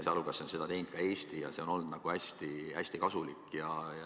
Sealhulgas on seda teinud ka Eesti ja see on olnud hästi kasulik.